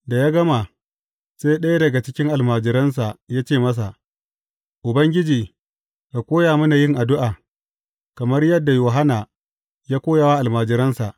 Da ya gama, sai ɗaya daga cikin almajiransa ya ce masa, Ubangiji, ka koya mana yin addu’a, kamar yadda Yohanna ya koya wa almajiransa.